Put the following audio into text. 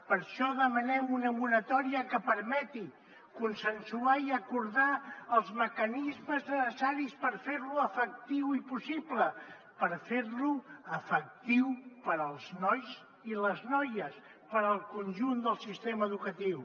per això demanem una moratòria que permeti consensuar i acordar els mecanismes necessaris per fer lo efectiu i possible per fer lo efectiu per als nois i les noies per al conjunt del sistema educatiu